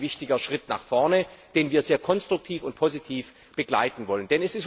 Das ist ein wichtiger Schritt nach vorne, den wir sehr konstruktiv und positiv begleiten wollen.